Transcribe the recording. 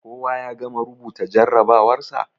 Koya ya gama rubuta jarrabawarsa?